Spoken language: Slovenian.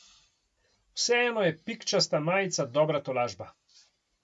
Vseeno je pikčasta majica dobra tolažba.